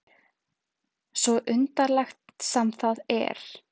Svo undarlegt sem það er.